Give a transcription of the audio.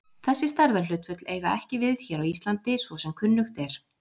Þessi stærðarhlutföll eiga ekki við hér á Íslandi svo sem kunnugt er.